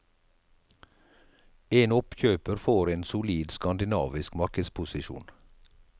En oppkjøper får en solid skandinavisk markedsposisjon.